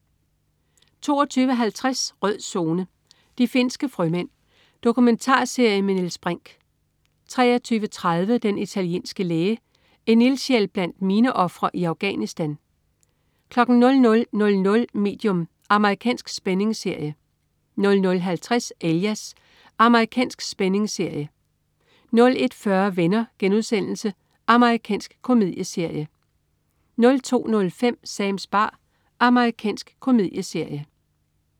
22.50 Rød Zone: De finske frømænd. Dokumentarserie med Niels Brinch 23.30 Den italienske læge. En ildsjæl blandt mineofre i Afghanistan 00.00 Medium. Amerikansk spændingsserie 00.50 Alias. Amerikansk spændingsserie 01.40 Venner.* Amerikansk komedieserie 02.05 Sams bar. Amerikansk komedieserie